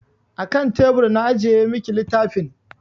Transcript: A kan tebur na ajiye miki littafin.